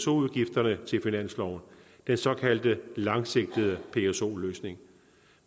udgifterne til finansloven den såkaldte langsigtede pso løsning